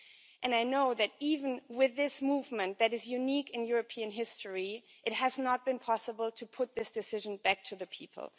And I know that even with this movement that is unique in European history, it has not been possible to put this decision back to the people.